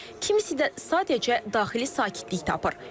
Kimisi də sadəcə daxili sakitlik tapır.